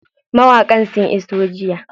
Mawaƙan sun iso jiya.